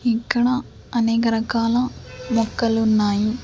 ఇక్కడ అనేక రకాల మొక్కలు ఉన్నాయి.